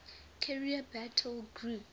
carrier battle group